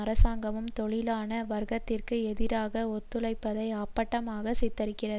அரசாங்கமும் தொழிலாள வர்க்கத்திற்கு எதிராக ஒத்துழைப்பதை அப்பட்டமாக சித்தரிக்கிறது